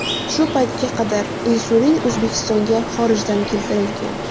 Shu paytga qadar insulin O‘zbekistonga xorijdan keltirilgan.